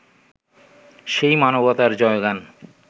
সেই মানবতার জয়গান